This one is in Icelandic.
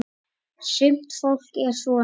Sumt fólk er svona.